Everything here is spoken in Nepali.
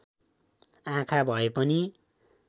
आँखा भए पनि